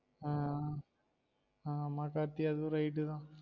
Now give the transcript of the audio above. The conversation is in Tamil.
ஆஹ் ஆமா கார்த்தி ஆதுவும் right தான்